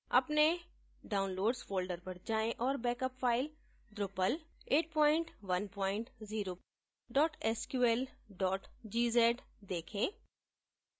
अपने downloads folder पर जायें और backup file drupal810 sql gz देखें